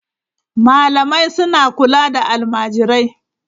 Malamai suna kula da almajirai.